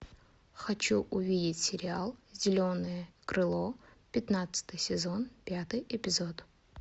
хочу увидеть сериал зеленое крыло пятнадцатый сезон пятый эпизод